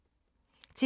TV 2